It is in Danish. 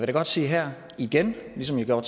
da godt sige her igen ligesom jeg gjorde